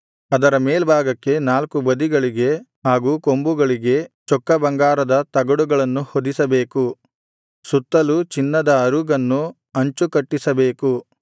ಅದರ ಮೇಲ್ಭಾಗಕ್ಕೆ ನಾಲ್ಕು ಬದಿಗಳಿಗೆ ಹಾಗೂ ಕೊಂಬುಗಳಿಗೆ ಚೊಕ್ಕ ಬಂಗಾರದ ತಗಡುಗಳನ್ನು ಹೊದಿಸಬೇಕು ಸುತ್ತಲೂ ಚಿನ್ನದ ಅರುಗನ್ನು ಅಂಚು ಕಟ್ಟಿಸಬೇಕು